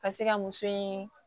Ka se ka muso in